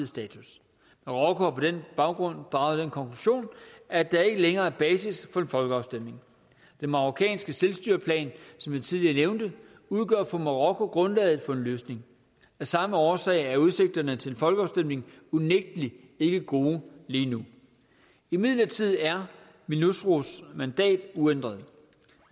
status marokko har på den baggrund draget den konklusion at der ikke længere er basis for en folkeafstemning den marokkanske selvstyreplan som jeg tidligere nævnte udgør for marokko grundlaget for en løsning af samme årsag er udsigterne til en folkeafstemning unægtelig ikke gode lige nu imidlertid er minursos mandat uændret